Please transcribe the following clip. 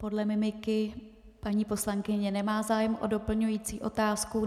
Podle mimiky paní poslankyně nemá zájem o doplňující otázku.